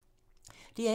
DR1